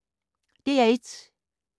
DR1